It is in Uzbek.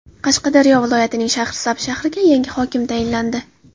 Qashqadaryo viloyatining Shahrisabz shahriga yangi hokim tayinlandi.